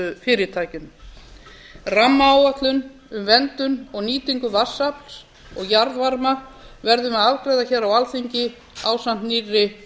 orkufyrirtækjum rammaáætlun um verndun og nýtingu vatnsafls og jarðvarma verðum við að afgreiða á alþingi ásamt nýrri